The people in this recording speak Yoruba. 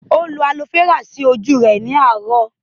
Ó lo Aloe Vera sí ojú ara rẹ̀ ní àárọ̀